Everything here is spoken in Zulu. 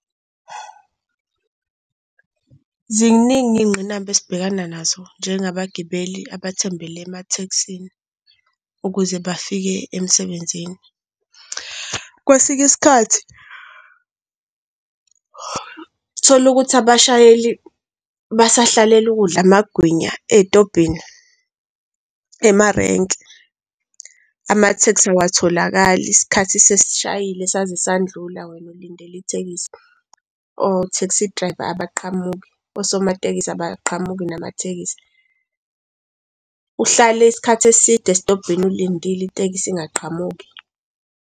Ziningi iy'ngqinamba esibhekana nazo njengabagibeli abathembele ematekisini ukuze bafike emsebenzini. Kwesinye isikhathi uthola ukuthi abashayeli basahlalele ukudla amagwinya ey'tobhini ema-rank, amatekisi awatholakali isikhathi sesishayile saze sandlula, wena ulindele itekisi, o-taxidriver abaqhamuki, osomatekisi abaqhamuki namatekisi. Uhlale isikhathi eside esitobhini ulindile itekisi ingaqhamuki.